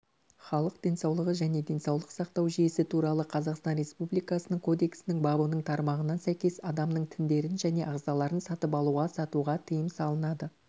халық денсаулығы және денсаулық сақтау жүйесі туралы қазақстан республикасының кодексінің бабының тармағына сәйкес адамның тіндерін және ағзаларын сатып алуға-сатуға тыйым салынады